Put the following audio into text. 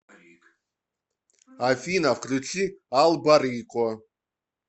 афина включи алба рико